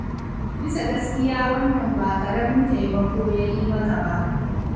Bisa gaskiya wannan ba ƙaramin taimako ya yi maka ba.